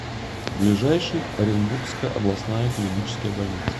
ближайший оренбургская областная клиническая больница